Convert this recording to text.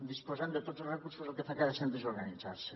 disposant de tots els recursos el que fa cada centre és organitzar se